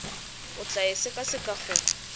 o tla e sekaseka go